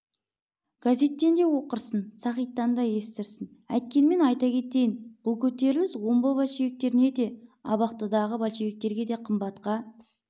газеттен де оқырсың сағиттан да естірсің әйткенмен айта кетейін бұл көтеріліс омбы большевиктеріне де абақтыдағы большевиктерге де қымбатқа